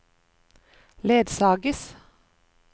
ledsages